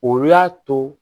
O y'a to